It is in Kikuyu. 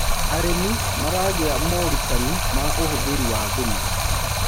arĩmi maragia morutanĩ ma uhuthiri wa thumu